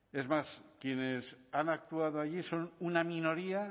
es más quienes han actuado allí son una minoría